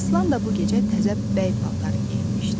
Aslan da bu gecə təzə bəy paltarı geyinmişdi.